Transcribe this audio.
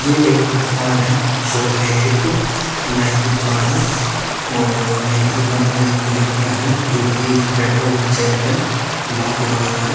यह एक दुकान है शॉप है ये एक नाई की दुकान है और नाई की दुकान में एक लड़का है जो कि बैठा हुआ है चेयर पे बाल कटवा रहा है।